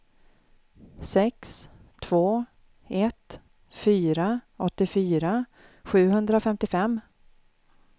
sex två ett fyra åttiofyra sjuhundrafemtiofem